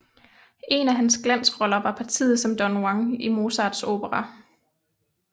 En af hans glansroller var partiet som Don Juan i Mozarts opera